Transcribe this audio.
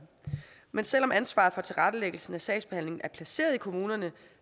men selv om ansvaret for tilrettelæggelsen af sagsbehandlingen er placeret i kommunerne